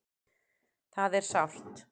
Það er sárt.